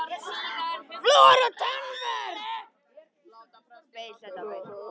FLÚOR OG TANNVERND